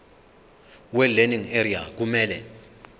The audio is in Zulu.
welearning area kumele